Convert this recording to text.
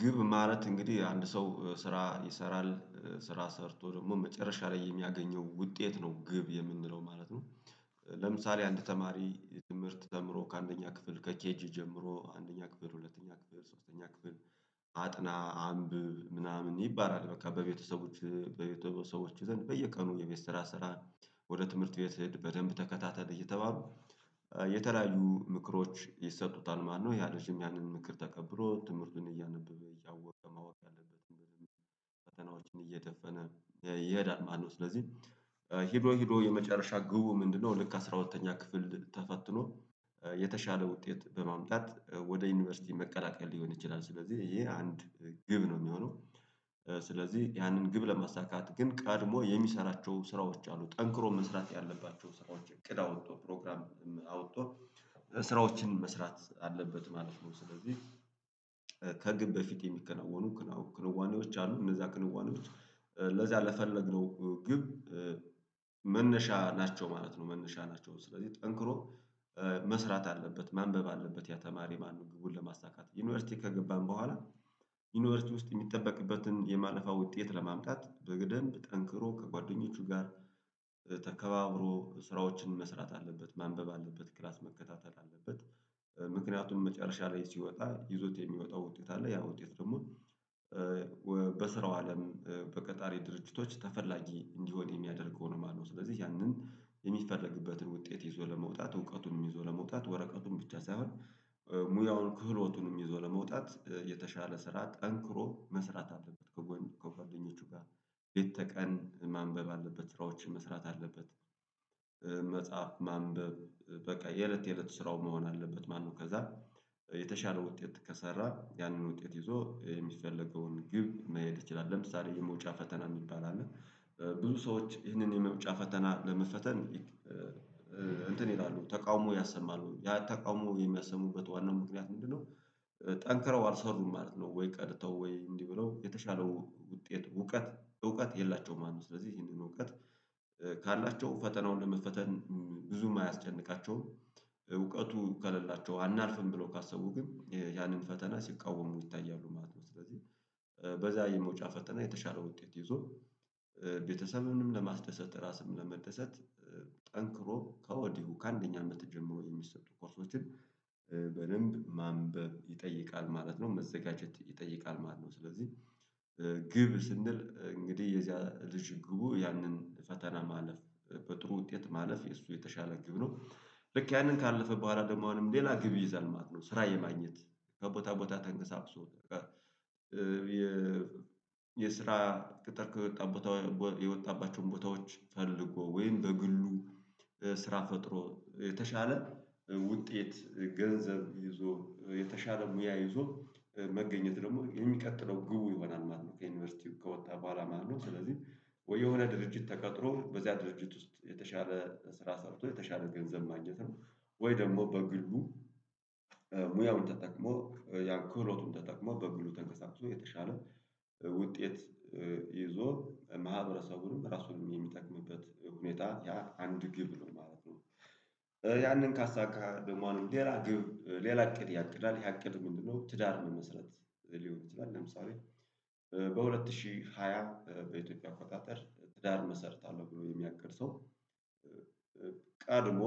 ግብ ማለት እንግዲህ አንድ ሰው ስራ ይሰራል ስራ ሰርቶ ደግሞ መጨረሻ ላይ የሚያገኘው ውጤት ነው ግብ የምንለው ማለት ነው። ለምሳሌ አንድ ተማሪ ትምህርት ተምሮ ከአንደኛ ክፍል ከኬጂ ጀምሮ አንደኛ ክፍል ሁለተኛ ክፍል ሶስተኛ ክፍል አጥና አንብብ ምናምን ይባላል በቃ በቤተሰቦች በቤተሰቦች ዘንድ በየቀኑ የቤት ስራ ስራ ወደ ትምህርት ቤት ሲሄድ በደንብ ተከታተል እየተባሉ የተለያዩ ምክሮች ይሰጡታል ማለት ነው። ያ ልጅም ያንን ምክር ተቀብሮ ትምህርቱን እያነበበ እያወቀ ማወቅ ያለበት በደንብ ፈተናዎችን እየደፈነ ይሄዳል ማለት ነው። ስለዚህ ሄዶ ሄዶ የመጨረሻ ግቡ ምንድነው? ልክ አስራ ሁለተኛ ክፍል ተፈትኖ የተሻለ ውጤት በማምጣት ወደ ዩኒቨርሲቲ መቀላቀል ሊሆን ይችላል ስለዚህ ይሄ አንድ ግብ ነው የሚሆነው። ስለዚህ ያንን ግብ ለማሳካት ግን ቀድሞ የሚሰራቸው ስራዎች አሉ ጠንክሮ መስራት ያለባቸው ስራዎች እቅድ አወጣቶ ፕሮግራም አውጥቶ ስራዎችን መስራት አለበት ማለት ነው። ስለዚህ ከግብ በፊት የሚከናወኑ ክንዋኔዎች አሉ እነዛ ክንዋኔዎች ለዛ ለፈለግነው ግብ መነሻ ናቸው ማለት ነው። መነሻ ናቸው ስለዚህ ጠንክሮ መስራት አለበት ማንበብ አለበት ያ ተማሪ ማነው? ግቡን ለማሳካት ዩኒቨርሲቲ ከገባን በኋላ ዩኒቨርሲቲ ውስጥ የሚጠበቅበትን የማለፋያ ውጤት ለማምጣት በደምብ ጠንክሮ ከጓደኞቹ ጋር ተከባብሮ ስራዎችን መስራት አለበት ማንበብ አለበት ክላስ መከታተል አለበት። ምክንያቱም መጨረሻ ላይ ሲወጣ ይዞት የሚወጣው ውጤት አለ ያ ውጤት ደግሞ በስራው አለም በቀጣሪ ድርጅቶች ተፈላጊ እንዲሆን የሚያደርገው ነው ማለት ነው። ስለዚህ ያንን የሚፈረግበትን ውጤት ይዞ ለመውጣት እውቀቱንም ይዞ ለመውጣት ወረቀቱን ብቻ ሳይሆን ሙያውን ክህሎቱንም ይዞ ለመውጣት የተሻለ ስራ ጠንክሮ መስራት አለበት። ከጓደኞቹ ጋር ሌተ ቀን ማንበብ አለበት ስራዎች መስራት አለበት። መጻፍ ማንበብ በቃ የእለት የእለት ስራው መሆን አለበት ማለት ነው። ከዛ የተሻለ ውጤት ከሰራህ ያንን ውጤት ይዞ የሚፈለገውን ግብ መየት ይችላል። ለምሳሌ የመውጫ ፈተና የሚባል አለ ብዙ ሰዎች ይህንን የመውጫ ፈተና ለመፈተን እንትን ይላሉ ተቃውሞ ያሰማሉ ያ ተቃውሞ የሚያሰሙበት ዋናው ምክንያት ምንድነው? ጠንክረው አልሰሩም ማለት ነው። ወይ ቀድተው ወይ እንዲህ ብለው የተሻለው ውጤት እውቀት እውቀት የላቸውም አለው ስለዚህ ይሄንን እውቀት። ካላቸው ፈተናውን ለመፈተን ብዙም አያስጨንቃቸውም። እውቀቱ ከሌላቸው አናልፍም ብሎ ካሰቡ ግን ያንን ፈተና ሲቃወሙ ይታያሉ ማለት ነው። ስለዚህ በዛ የመውጫ ፈተና የተሻለ ውጤት ይዞ ቤተሰብንም ለማስደሰት ራስንም ለመደሰት ጠንክሮ ከወዲሁ ከአንደኛ አመት ጀምሮ የሚሰጡ ኮርሶችን በደንብ ማንበብ ይጠይቃል ማለት ነው። መዘጋጀት ይጠይቃል ማለት ነው። ስለዚህ ግብ ስንል እንግዲህ የዚያ ልጅ ግቡ ያንን ፈተና ማለፍ በጥሩ ውጤት ማለፍ የእሱ የተሻለ ግብ ነው። ልክ ያንን ካለፈ በኋላ ደግሞ አሁንም ሌላ ግብ ይዘል ማለት ነው። ስራ የማግኘት ከቦታ ቦታ ተንቀሳቅሶ የስራ ቅጥር ከወጣ ቦታ የወጣባቸውን ቦታዎች ፈልጎ ወይም በግሉ ስራ ፈጥሮ የተሻለ ውጤት ገንዘብ ይዞ የተሻለ ሙያ ይዞ መገኘት ደግሞ የሚቀጥለው ግቡ ይሆናል ማለት ነው። ከዩኒቨርሲቲው ከወጣ በኋላ ማለት ነው ስለዚህ ወይ የሆነ ድርጅት ተቀጥሮ በዚያ ድርጅት ውስጥ የተሻለ ስራ ሰርቶ የተሻለ ገንዘብ ማግኘት ነው። ወይ ደግሞ በግሉ ሙያውን ተጠቅሞ ያን ክህሎቱን ተጠቅሞ በግሉ ተንቀሳቅሶ የተሻለ ውጤት ይዞ ማህበረሰቡንም ራሱን የሚጠቅምበት ሁኔታ ያ አንድ ግብ ነው ማለት ነው። ያንን ካሳካ ደግሞ ሌላ ግብ ሌላ እቅድ ያቅዳል ያቅድ ምንድነው? ትዳር መመስረት ሊሆን ይችላል። ለምሳሌ በሁለት ሺህ ሃያ በኢትዮጵያ አቆጣጠር ትዳር መሰርታለሁ ብሎ የሚያቅድ ሰው ቀድሞ